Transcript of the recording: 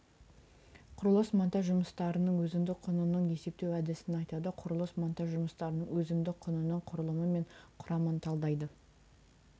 құрылыс монтаж жұмыстарының өзіндік құнының есептеу әдісін айтады құрылыс монтаж жұмыстарының өзіндік құнының құрылымы мен құрамын талдайды